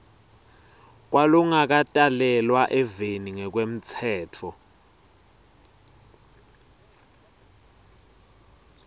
kwalongakatalelwa eveni ngekwemtsetfo